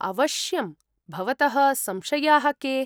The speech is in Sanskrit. अवश्यम्, भवतः संशयाः के?